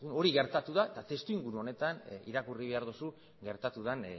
hori gertatu da eta testuinguru honetan irakurri behar duzu gertatu den